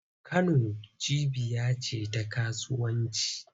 Kano cibiya ce ta kasuwanci.